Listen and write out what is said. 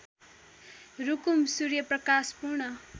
Rukum Suryaprakash Pun